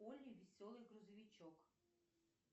олли веселый грузовичок